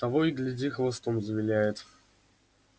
того и гляди хвостом завиляет